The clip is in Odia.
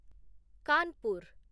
କାନପୁର